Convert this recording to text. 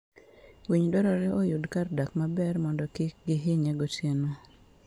Winy dwarore oyud kar dak maber mondo kik gihinye gotieno.